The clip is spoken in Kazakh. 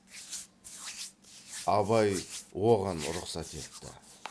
абай оған рұхсат етті